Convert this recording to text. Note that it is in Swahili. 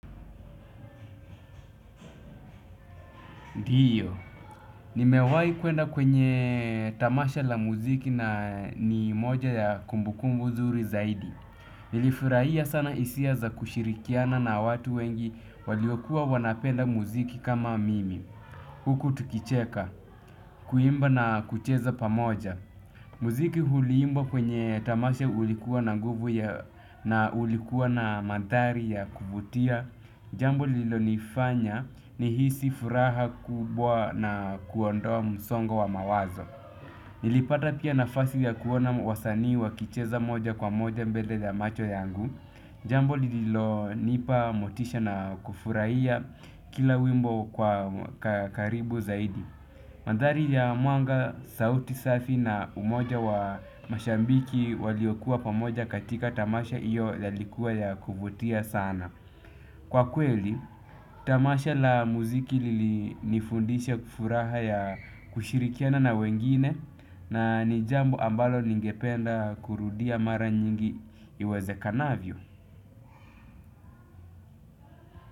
Ndiyo, nimewahi kuenda kwenye tamasha la muziki na ni moja ya kumbukumbu nzuri zaidi. Nilifurahia sana hisia za kushirikiana na watu wengi waliokuwa wanapenda muziki kama mimi. Huku tukicheka, kuimba na kucheza pamoja. Muziki huliimbwa kwenye tamasha ulikuwa na nguvu na ulikuwa na mandhari ya kuvutia. Jambo lilonifanya nihisi furaha kubwa na kuondoa msongo wa mawazo. Nilipata pia nafasi ya kuona wasani wakicheza moja kwa moja mbele ya macho yangu. Jambu lilonipa motisha na kufurahia kila wimbo kwa karibu zaidi. Mandhari ya mwanga sauti safi na umoja wa mashabiki waliokuwa pamoja katika tamasha iyo yalikuwa ya kuvutia sana. Kwa kweli, tamasha la muziki lilinifundisha furaha ya kushirikiana na wengine na ni jambo ambalo ningependa kurudia mara nyingi iwezekanavyo.